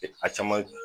A caman